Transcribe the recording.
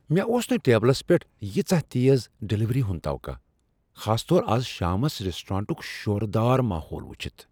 مےٚ اوس نہٕ ٹیبلس پیٹھ ییژاہ تیز ڈلیوری ہُند توقع، خاص طور از شامس ریسٹورانٹک شورٕ دار ماحول وچھتھ۔